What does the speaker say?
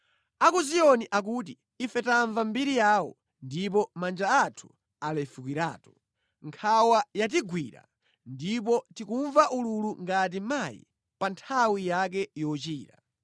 A ku Ziyoni akuti “Ife tamva mbiri yawo, ndipo manja anthu alefukiratu. Nkhawa yatigwira, ndipo tikumva ululu ngati mayi pa nthawi yake yochira.